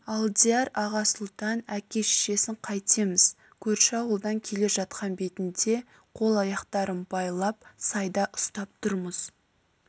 алдияр аға сұлтан әке-шешесін қайтеміз көрші ауылдан келе жатқан бетінде қол-аяқтарын байлап сайда ұстап тұрмыз